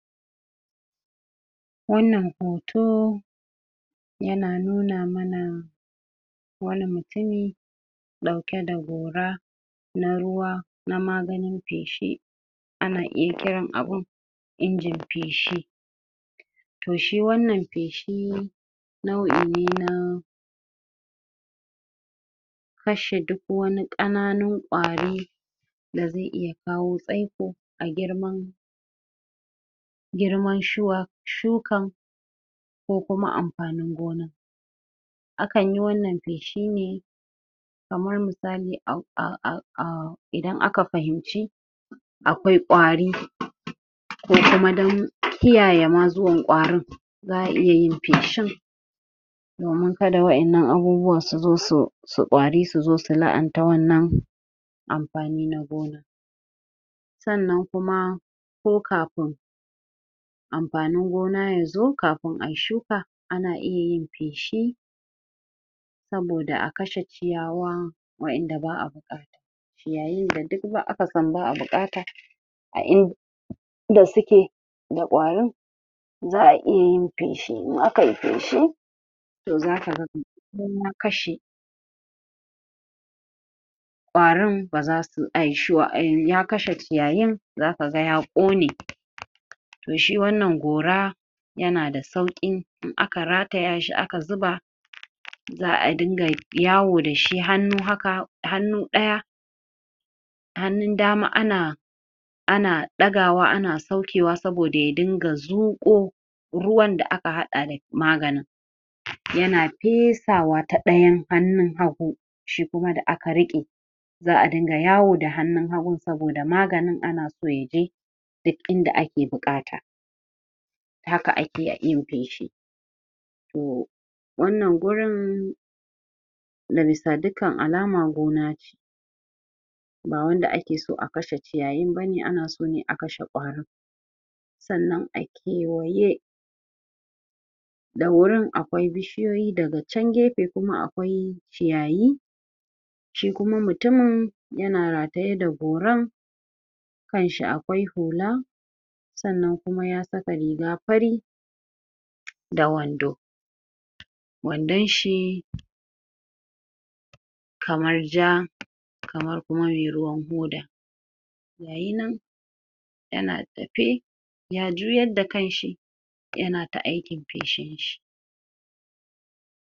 Wannan hoto yana nuna mana wani mutumi ɗauke da gora na ruwa na maganin feshi ana iya kiran abun injin feshi toh shi wannan feshii nau'i ne na fashe duk wani ƙananun ƙwarii da zai iya kawo tsaiko a girman girman shuwa shukan ko kuma amfanin gonan akan yi wannan feshi ne kamar misali aahh idan aka fahimci akwai ƙwarii ko kuma don kiyaye ma zuwan ƙwarin za'a iya yin feshin domin kada wa'in nan abubuwan su zo su su ƙwari su zo su la'anta wannan amfani na gona sannan kuma ko kafin amfanin gona yazo kafin ayi shuka ana iya yin feshi saboda akashe ciyawaa wa'in da ba'a buƙata ciyayin da duk aka san ba'a buƙata a in da suke da ƙwarin za'a iya yin feshewa kai feshi toh zaka ga kashe ƙwarin ba zasu ya kashe ciyayin zaka ga ya ƙone toh shi wannan gora yana da sauƙin in aka rataya shi aka zuba za'a dunga yawo dashi hannu haka hannu ɗaya hannun dama ana ana ɗagawa ana saukewa saboda ya dunga zuƙo ruwan da aka haɗa da maganin yana fesawa ta ɗayan hannun hagu shi kuma da aka riƙe za'a dunga yawo da hannun hagun saboda maganin ana so yaje duk inda ake buƙata haka akeyin feshi tohh wannan gurin ga bisa dukkan alama gona ce ba wanda ake so a kashe ciyayin bane ana so ne akashe ƙwarin sannan a kewaye da wurin akwai bi shiyoyi daga chan gefe kuma akwai ciyayi shi kuma mutumin yana rataye da goran kanshi akwai hula sannan kuma ya saka riga fari da wando wandon shi kamar jaa kamar ruwa mai ruwan hoda gayi nan yana tafe ya juyar da kan shi yana ta aikin feshe shi